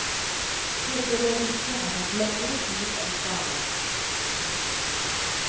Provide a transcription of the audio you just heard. Forberedelsene har tatt lengre tid enn planlagt. punktum